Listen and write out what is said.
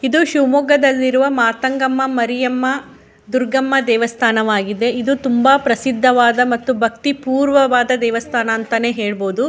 ಇದು ಶಿಮೊಗದಲ್ಲಿ ಇರುವ ಮಾರ್ಥಂಗಮ್ಮ ಮಾರಿಯಮ್ಮ ದುರ್ಗಮ್ಮ ದೇವಸ್ಥಾನವಾಗಿದೆ. ಇದು ತುಂಬ ಪ್ರಸಿದ್ಧವಾದ ಮತ್ತು ಭಕ್ತಿಪೂರ್ವ ವದ ದೇವಸ್ಥಾನ ಅಂತಾನೆ ಹೇಳಬೋದು.